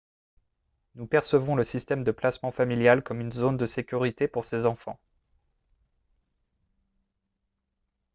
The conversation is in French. nous percevons le système de placement familial comme une zone de sécurité pour ces enfants